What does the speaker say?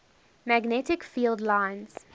magnetic field lines